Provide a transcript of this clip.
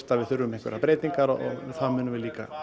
að við þurfum einhverjar breytingar og það munum við líka